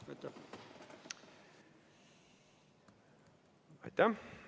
Aitäh!